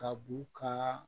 Ka b'u ka